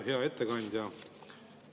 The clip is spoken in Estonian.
Hea ettekandja!